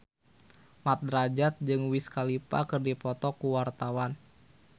Mat Drajat jeung Wiz Khalifa keur dipoto ku wartawan